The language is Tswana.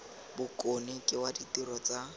bokone ke wa ditiro tsa